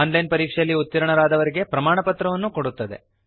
on line ಪರೀಕ್ಷೆಯಲ್ಲಿ ಉತ್ತೀರ್ಣರಾದವರಿಗೆ ಪ್ರಮಾಣಪತ್ರ ಕೊಡುತ್ತದೆ